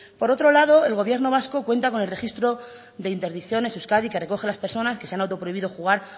por otro lado el gobierno vasco cuenta con el registro de interdicciones de euskadi que recoge las personas que se han auto prohibido jugar